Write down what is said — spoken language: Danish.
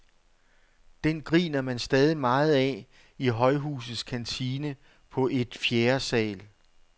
Den griner man stadig meget af i højhusets kantine på et fjerde sal.